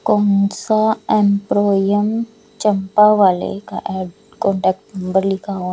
चंपावाले का ad contact number लिखा हुआ--